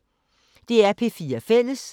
DR P4 Fælles